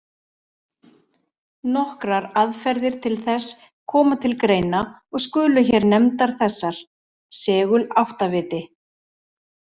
Nokkrar aðferðir til þess koma til greina og skulu hér nefndar þessar: Seguláttaviti.